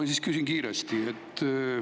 Ma siis küsin kiiresti.